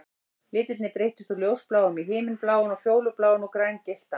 Litirnir breyttust úr ljósbláum í himinbláan og fjólubláan og grængylltan